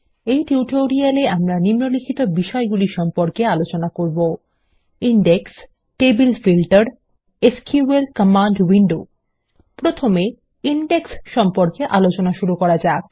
এই টিউটোরিয়াল এ আমরা নিম্নলিখিত বিষয়গুলি সম্পর্কে আলোচনা করব index table filter SQL command window প্রথমে ইনডেক্স সম্পর্কে আলোচনা শুরু করা যাক